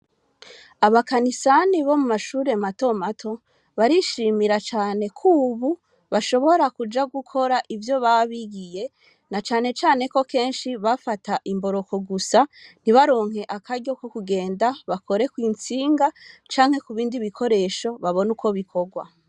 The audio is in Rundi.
Abakanisani bo mu mashure matomato, barishimira kubu bashobora kuja gukora ivyo baba buhiye na cane cane ko kenshi bafata imboroko gusa ntibaronke akaryo ko kugenda, bakoresha ku ntsinga canke kubindi bikoresho babone uko bikorwa.